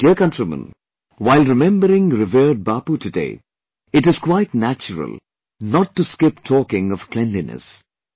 My dear countrymen, while remembering revered Bapu today, it is quite natural not to skip talking of cleanliness